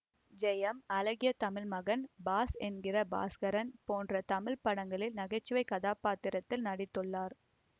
ஜெயம் அழகிய தமிழ்மகன் பாஸ் என்கிற பாஸ்கரன் போன்ற தமிழ் படங்களில் நகைச்சுவை கதாபாத்திரத்தில் நடித்துள்ளார்